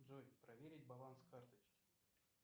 джой проверить баланс карточки